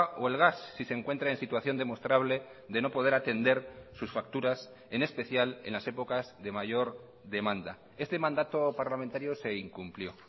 o el gas si se encuentra en situación demostrable de no poder atender sus facturas en especial en las épocas de mayor demanda este mandato parlamentario se incumplió